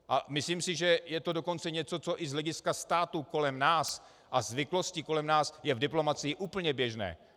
A myslím si, že je to dokonce něco, co i z hlediska států kolem nás a zvyklostí kolem nás je v diplomacii úplně běžné.